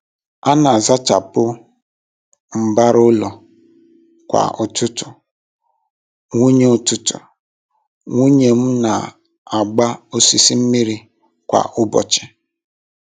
A n'azachapụ mbara ụlọ kwa ụtụtụ, nwunye ụtụtụ, nwunye m n'agba osisi mmiri kwa ụbọchị